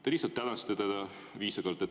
Te lihtsalt tänasite teda viisakalt.